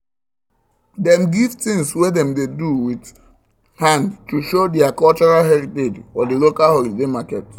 dem gift things wey dem do with hand to show der cultural heritage for the local holiday market